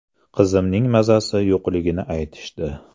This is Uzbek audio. Qizimning mazasi yo‘qligini aytishdi.